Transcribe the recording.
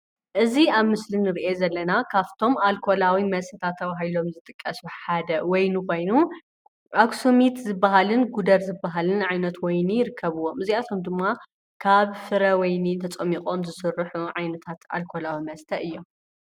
እዚ ኣብ ምስሊ እንርእዮ ዘለና ካፍቶም ኣልኮላዊ መስተታት ተበሂሎም ዝጥቀሱ ሓደ ወይኒ ኾይኑ አክሰሚት ዝበሃልን ጉደር ዝበሃልን ዓይነት ወይኒ ይርከብዎም ። እዚኣቶም ድማ ካብ ፍረ ወይኒ ተፀሚቆም ዝስርሑ ዓይነታት ኣልኮላዊ መስተ እዮም ።